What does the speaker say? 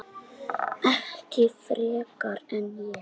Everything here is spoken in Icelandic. Ekki frekar en ég.